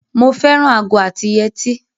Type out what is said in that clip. Mo fẹ́ràn ago àti yetí.